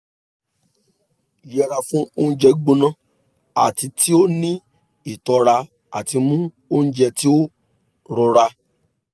yẹra fun ounjẹ gbona ati ti o ni itọra ati mu ounjẹ ti o rọra